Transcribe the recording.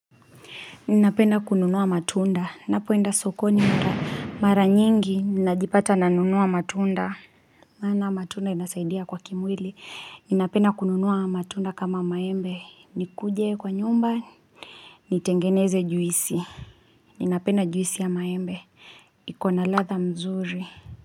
Ninapenda kununua matunda, napoenda sokoni mara nyingi ninajipata nanunua matunda. Maana matunda inasaidia kwa kimwili, ninapenda kununua matunda kama maembe, nikuje kwa nyumba, nitengeneze juisi, ninapenda juisi ya maembe, iko na ladha mzuri.